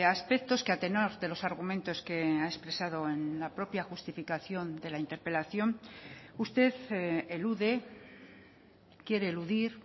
aspectos que a tenor de los argumentos que ha expresado en la propia justificación de la interpelación usted elude quiere eludir